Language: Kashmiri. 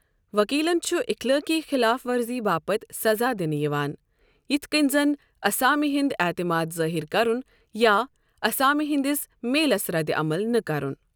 وكیلن چھٗ اِخلٲقی خلاف ورزی باپت سزا دِ نہٕ یوان یِتھۍ كٕنۍ زن اسامہِ ہند اعتماد ظٲہِر كرُن یا اسامہِِ ہندِس میلس ردِعمل نہٕ كرٗن ۔